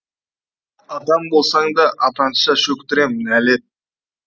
атам болсаң да атанша шөктірем нәлет